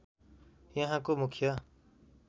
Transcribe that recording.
यहाँको मुख्य